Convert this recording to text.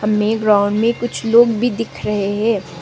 में ग्राउंड मे कुछ लोग भी दिख रहे हैं।